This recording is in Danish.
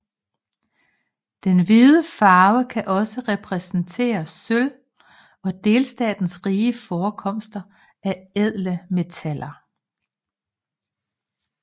Den hvide farve kan også repræsentere sølv og delstatens rige forekomster af ædle metaller